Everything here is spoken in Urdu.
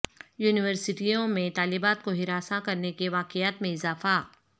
یونیورسٹیوں میں طالبات کو ہراساں کرنے کے واقعات میں اضافہ